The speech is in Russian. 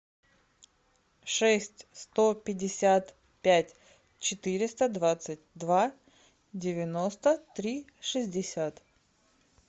шесть сто пятьдесят пять четыреста двадцать два девяносто три шестьдесят